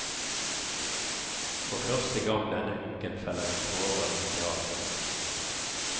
For første gang denne uken feller vi tårer i teatret.